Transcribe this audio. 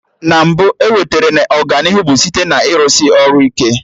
Na mbụ, ewetere na Ọganihu bụ site na ịrụsị ọrụ ike